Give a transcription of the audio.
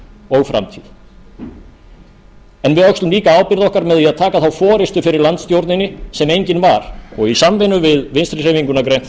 og framtíð við öxlum líka ábyrgð okkar með því að taka þá forustu fyrir landstjórninni sem engin var og í samvinnu við vinstri hreyfinguna á grænt